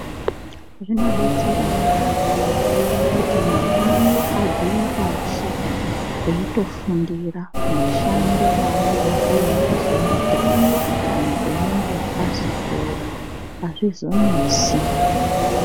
Zvinodetsera yambo kuti mwana abvire pashi eitofundira mushando waanodakarira kuzoita kana einge azokura azvizonesi.